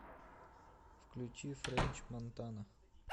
включи френч монтана